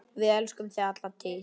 Við elskum þig alla tíð.